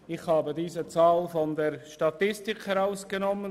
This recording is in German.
Ich habe diese Zahl der Statistik entnommen.